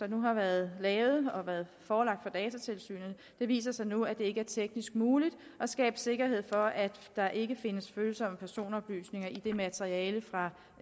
nu har været lavet og som har været forelagt for datatilsynet viser så nu at det ikke er teknisk muligt at skabe sikkerhed for at der ikke findes følsomme personoplysninger i det materiale fra